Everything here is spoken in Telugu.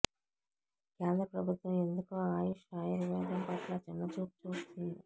కేంద్ర ప్రభుత్వం ఎందుకో ఆయుష్ ఆయుర్వేదం పట్ల చిన్నచూపు చూస్తోంది